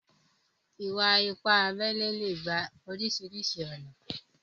Ìwà-ìpà àbèlè lè gbà orísiríṣi ọ̀nà.